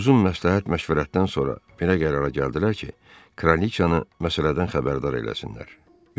Uzun məsləhət-məşvərətdən sonra belə qərara gəldilər ki, kraliçanı məsələdən xəbərdar eləsinlər.